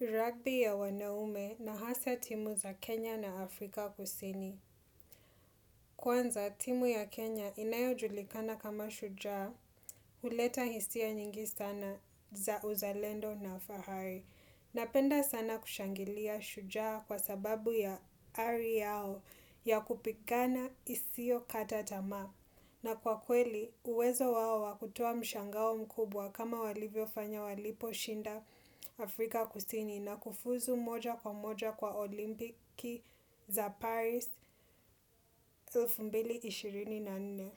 Rugby ya wanaume na hasa timu za Kenya na Afrika kusini. Kwanza, timu ya Kenya inayojulikana kama shujaa, huleta hisia nyingi sana za uzalendo na fahari. Napenda sana kushangilia shujaa kwa sababu ya ari yao ya kupigana isio kata tamaa. Na kwa kweli, uwezo wao wa kutoa mshangao mkubwa kama walivyofanya walipo shinda Afrika kusini na kufuzu moja kwa moja kwa olimpiki za Paris 2024.